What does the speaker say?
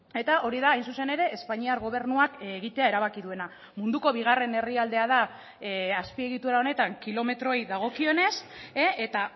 eta hori da hain zuzen ere espainiar gobernuak egitea erabaki duena munduko bigarren herrialdea da azpiegitura honetan kilometroei dagokionez eta